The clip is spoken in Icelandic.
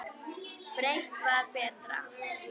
Breitt var betra.